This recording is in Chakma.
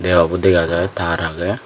deabo dega jai tar agey.